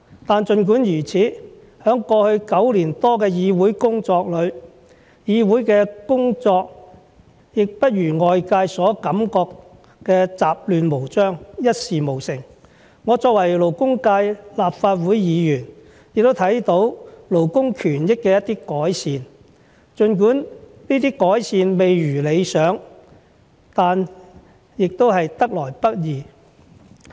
但儘管如此，在過去9年多的議會工作裏，議會的工作也不如外界所感覺的雜亂無章，一事無成，我作為勞工界立法會議員，也看到勞工權益的一些改善，儘管這些改善未如理想，但也得來不易。